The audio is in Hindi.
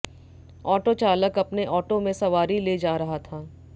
ऑटो चालक अपने ऑटो में सवारी ले जा रहा था